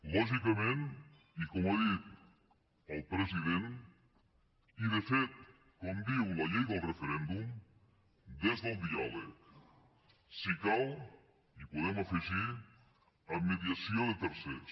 lògicament i com ha dit el president i de fet com diu la llei del referèndum des del diàleg si cal hi podem afegir amb mediació de tercers